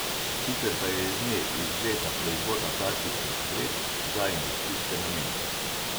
Sicer pa je iz nje izvzeta proizvodnja plastičnih vrečk za industrijske namene.